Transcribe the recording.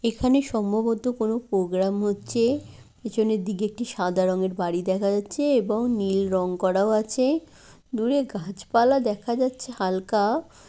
এখানে সম্ভবত কোন প্রোগ্রাম হচ্ছে পিছনের দিকে একটি সাদা রঙের বাড়ি দেখা যাচ্ছে এবং নীল রং করাও আছে দূরে গাছপালা দেখা যাচ্ছে হালকা।